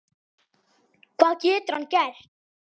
Hvað getur hann gert?